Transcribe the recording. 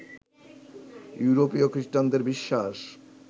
ইউরোপীয় খৃষ্টানদের বিশ্বাস